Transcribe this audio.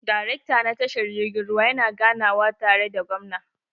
Darekta na tashar jirgin ruwa yana ganawa tare da gwamna.